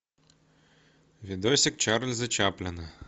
видосик чарльза чаплина